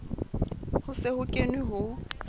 ho se ho kenwe ho